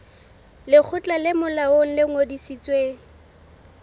lekgotla le molaong le ngodisitsweng